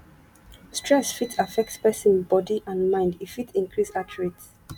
stress fit affect person body and mind e fit increase heart rate